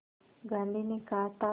गांधी ने कहा था